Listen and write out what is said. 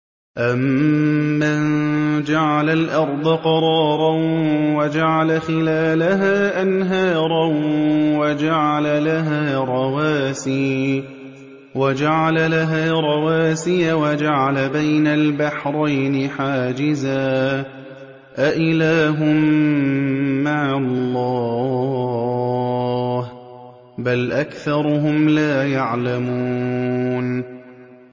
أَمَّن جَعَلَ الْأَرْضَ قَرَارًا وَجَعَلَ خِلَالَهَا أَنْهَارًا وَجَعَلَ لَهَا رَوَاسِيَ وَجَعَلَ بَيْنَ الْبَحْرَيْنِ حَاجِزًا ۗ أَإِلَٰهٌ مَّعَ اللَّهِ ۚ بَلْ أَكْثَرُهُمْ لَا يَعْلَمُونَ